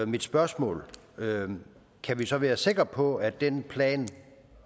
mit spørgsmål kan vi så være sikre på at den plan